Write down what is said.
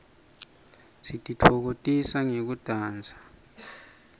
sititfokotisa ngekudansa